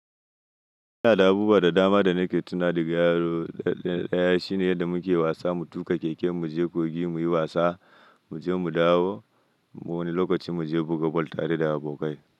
Ina da abubuwa da dama da nake tuna daga yaro. Daya shine yadda muke wasa, mu tuƙa keke, mu je kogi muyi wasa, mu je mu dawo. Wani lokacin mu je buga bal tare da abokai.